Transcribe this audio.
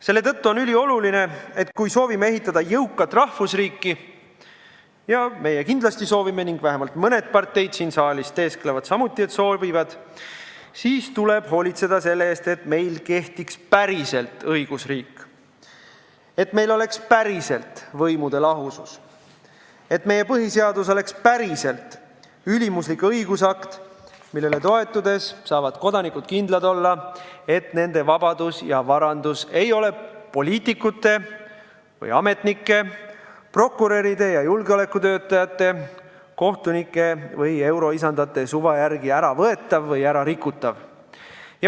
Selle tõttu on ülioluline, et kui me soovime ehitada jõukat rahvusriiki – ja meie kindlasti soovime ning vähemalt mõned parteid siin saalis teesklevad samuti, et soovivad –, siis tuleb hoolitseda selle eest, et meil kehtiks päriselt õigusriik, et meil oleks päriselt võimude lahusus, et meie põhiseadus oleks päriselt ülemuslik õigusakt, millele toetudes saavad kodanikud kindlad olla, et nende vabadus ja varandus ei ole poliitikute või ametnike, prokuröride või julgeolekutöötajate, kohtunike või euroisandate suva järgi äravõetav või ärarikutav.